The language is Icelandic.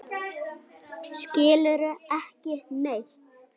Skilurðu ekki neitt?